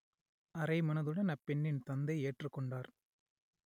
அரைமனதுடன் அப்பெண்ணின் தந்தை ஏற்றுக் கொண்டார்